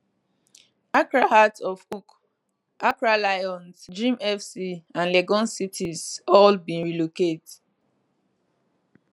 accra hearts of oak accra lions dreams fc and legon cities all bin relocate